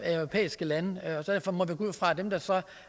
europæiske lande og derfor må vi gå ud fra at dem der så